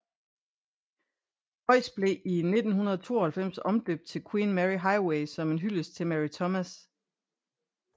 Croix blev i 1972 omdøbt til Queen Mary Highway som en hyldest til Mary Thomas